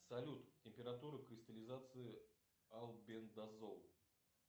салют температура кристаллизации амбендазол